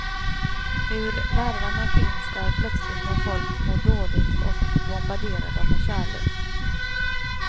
Hur värvarna finns där plötsligt när folk mår dåligt och bombarderar dem med kärlek.